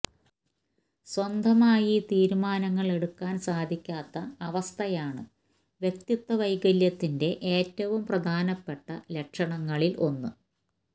സ്വന്തമായി തീരിമാനങ്ങള് എടുക്കാന് സാധിക്കാത്ത അവസ്ഥയാണ് വ്യക്തിത്വ വൈകല്യത്തിന്റെ ഏറ്റവും പ്രധാനപ്പെട്ട ലക്ഷണങ്ങളില് ഒന്ന്